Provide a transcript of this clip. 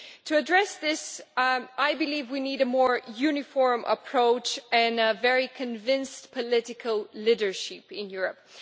To address this, I believe we need a more uniform approach and a very convinced political leadership in Europe.